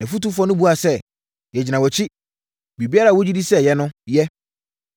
Nʼafotufoɔ no buaa sɛ, “Yɛgyina wʼakyi. Biribiara a wogye di sɛ ɛyɛ no, yɛ.”